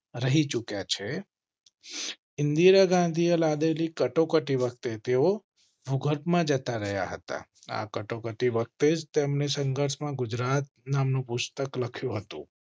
રહી ચુક્યા છે. ઇન્દિરા ગાંધીએ લાદેલી કટોકટી. વખતે તેઓ ભૂગર્ભમાં જતા રહ્યા હતા. આ કટોકટી વખતે તેમને સંઘર્ષમાં ગુજરાત નામનું પુસ્તક લખ્યું હતું.